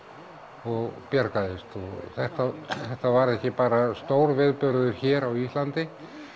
og bjargaðist þetta þetta var ekki bara stór viðburður hér á Íslandi